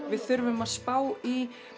við þurfum að spá í